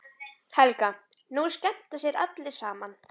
Helga: Nú skemmta sér allir saman?